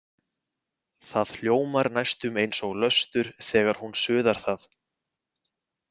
Það hljómar næstum eins og löstur þegar hún suðar það.